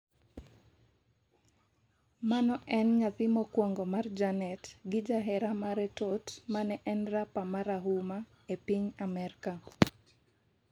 mano en nyathi mokwongo mar janet gi jahera mare Tot mane en rapa marahuma e piny Amerka